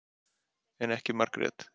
En ekki Margrét.